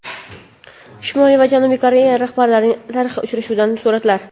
Shimoliy va Janubiy Koreya rahbarlarining tarixiy uchrashuvidan suratlar.